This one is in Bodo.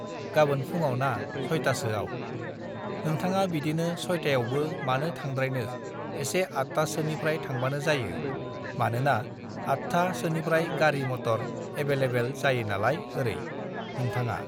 "गाबोन फुङाव ना, सयटासोयाव। नोंथाङा बिदिनो सयटायावबो मानो थांद्रायनो एसे आतटा सोनिफ्राय थांबानो जायो, मानोबा आतथा सोनिफ्राय गारि मटर एबेलेबेल (available) जायो नालाय ओरै। नोंथाङा"